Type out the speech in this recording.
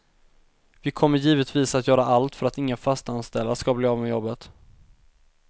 Vi kommer givetvis att göra allt för att inga fastanställda skall bli av med jobbet.